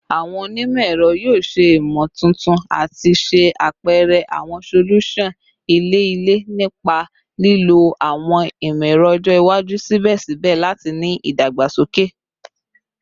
Awọn onimọ-ẹrọ yoo ṣe imotuntun ati ṣe apẹrẹ awọn solusan ilẹ-ilẹ nipa lilo awọn imọ-ẹrọ ọjọ iwaju sibẹsibẹ lati ni idagbasoke